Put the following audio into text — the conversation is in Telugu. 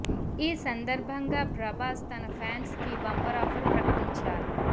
ఈ సందర్భాంగా ప్రభాస్ తన ఫ్యాన్స్ కి బంపర్ ఆఫర్ ప్రకటించారు